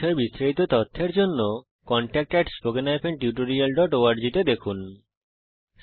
এই বিষয়ে বিস্তারিত তথ্যের জন্য contactspoken tutorialorg তে ইমেল করুন